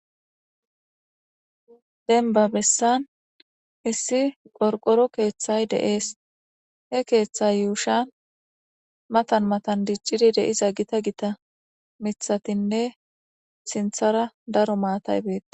Dembba besan issi qotqoro keththay de'esi he keththa yushshan matan matan diccid dizza gita gita miththatinne sinththara daro maatayi bettes.